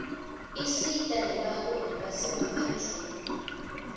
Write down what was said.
isita nebaholi basemaphalamende